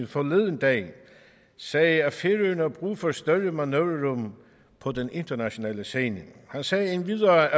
forleden dag sagde at færøerne har brug for et større manøvrerum på den internationale scene han sagde endvidere